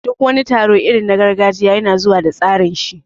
Duk wani taro irin na gargajiya yana zuwa da tsarinshi ne